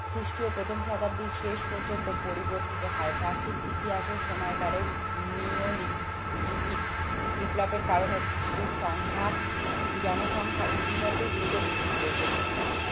খ্রিস্টীয় প্রথম শতাব্দীর শেষ পর্যন্ত পরিবর্তিত হয় প্রাচীন ইতিহাসের সময়কালের নিয়োলিথিক লিথিক বিপ্লবের কারণে বিশ্বের সংখ্যা জনসংখ্যা ইতিমধ্যেই দ্রুত বৃদ্ধি পেয়েছে